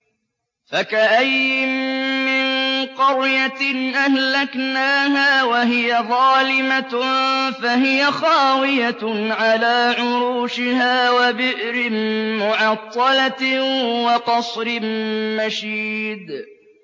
فَكَأَيِّن مِّن قَرْيَةٍ أَهْلَكْنَاهَا وَهِيَ ظَالِمَةٌ فَهِيَ خَاوِيَةٌ عَلَىٰ عُرُوشِهَا وَبِئْرٍ مُّعَطَّلَةٍ وَقَصْرٍ مَّشِيدٍ